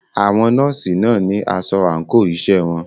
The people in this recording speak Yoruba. Àwọn nọ́ọ̀sì náà ní asọ àńkò iṣẹ́ wọn.